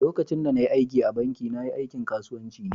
lokacin da na yi aiki a'banki, na. yi aikin kasuwanci ne.